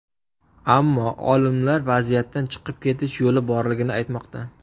Ammo olimlar vaziyatdan chiqib ketish yo‘li borligini aytmoqda.